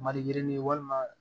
Maliyirinin walima